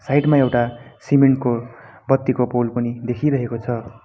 Side मा एउटा cement को बत्तीको पोल पनि देखिरहेको छ।